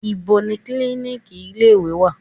Níbo ni klíníkì ilé ìwé wà?